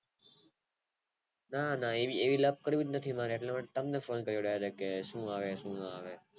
ના ના એવી લાભ જરૂર નથી મારે એટલે તમને ફોને કરો કે શું આવે શું આવે